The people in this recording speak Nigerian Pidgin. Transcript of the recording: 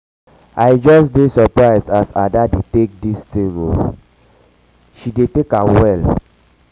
i just dey surprised um as ada dey take dis um thing oo she she um dey take am well